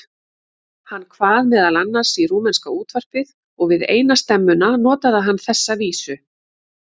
Hann kvað meðal annars í rúmenska útvarpið og við eina stemmuna notaði hann þessa vísu